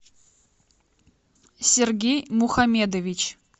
сергей мухамедович